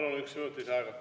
Palun, üks minut lisaaega!